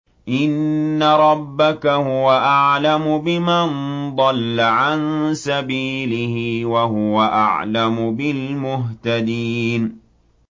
إِنَّ رَبَّكَ هُوَ أَعْلَمُ بِمَن ضَلَّ عَن سَبِيلِهِ وَهُوَ أَعْلَمُ بِالْمُهْتَدِينَ